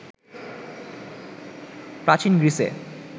প্রাচীন গ্রীসে